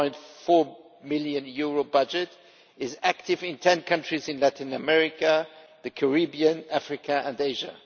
6.4 million budget, is active in 10 countries in Latin America, the Caribbean, Africa and Asia.